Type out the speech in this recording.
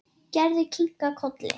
Gerður kinkaði kolli.